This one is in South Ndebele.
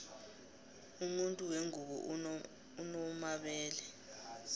umuntu wengubo unomabele